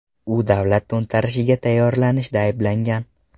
U davlat to‘ntarishiga tayyorlanishda ayblangan.